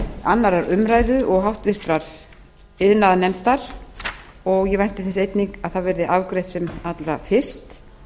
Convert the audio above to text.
annarrar umræðu og háttvirtur iðnaðarnefndar ég vænti þess einnig að það verði afgreitt sem allra fyrst